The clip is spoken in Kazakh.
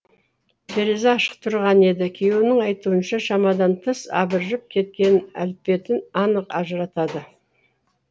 терезе ашық тұрған еді күйеуінің айтуынша шамадан тыс абыржып кеткен әлпетін анық ажыратады